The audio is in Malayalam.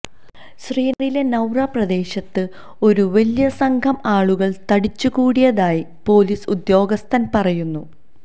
ശ്രീനഗറിലെ സൌര പ്രദേശത്ത് ഒരു വലിയ സംഘം ആളുകള് തടിച്ചുകൂടിയതായി പൊലീസ് ഉദ്യോഗസ്ഥന് പറയുന്നു